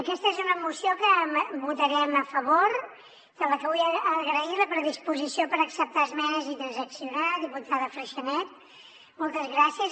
aquesta és una moció que votarem a favor de la que vull agrair la predisposició per acceptar esmenes i transaccionar diputada freixanet moltes gràcies